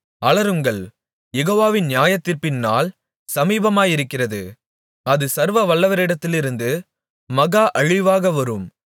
அலறுங்கள் யெகோவாவின் நியாயத்தீர்ப்பின்நாள் சமீபமாயிருக்கிறது அது சர்வவல்லவரிடத்திலிருந்து மகா அழிவாக வரும்